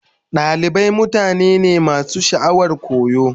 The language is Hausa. Dalibai mutane ne masu sha'awar koyo.